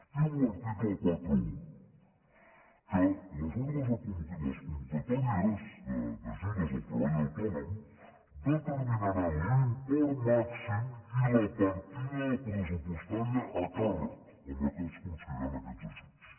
diu l’article quaranta un que les convocatòries d’ajudes al treball autònom determinaran l’import màxim i la partida pressupostària a càrrec amb què es concediran aquests ajuts